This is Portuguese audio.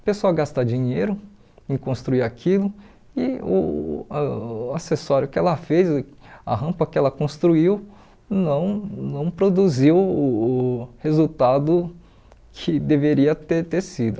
O pessoal gasta dinheiro em construir aquilo e o ãh acessório que ela fez, a rampa que ela construiu, não não produziu o resultado que deveria ter ter sido.